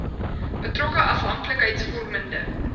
betrokke afhank likheidsvormende